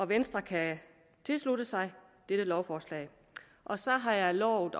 venstre kan tilslutte sig dette lovforslag så har jeg lovet